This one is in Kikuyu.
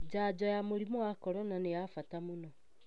Janjo ya mũrimu wa corona nĩ ya bata mũno.